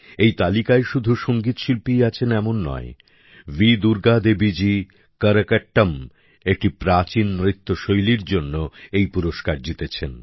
এই তালিকায় শুধু সঙ্গীত শিল্পীই আছেন এমন নয় ভি দুর্গা দেবীজি করকাট্টম একটি প্রাচীন নৃত্যশৈলীর জন্য এই পুরস্কার জিতেছেন